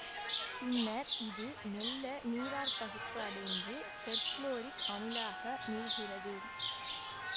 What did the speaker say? பின்னர் இது மெல்ல நீராற்பகுப்பு அடைந்து பெர்குளோரிக் அமிலமாக மீள்கிறது